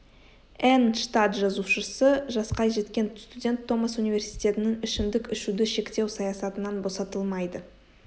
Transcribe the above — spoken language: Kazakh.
энн штат жазушысы жасқа жеткен студент томас университетінің ішімдік ішуді шектеу саясатынан босатылмайды